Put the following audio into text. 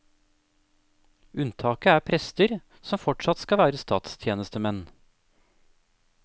Unntaket er prester, som fortsatt skal være statstjenestemenn.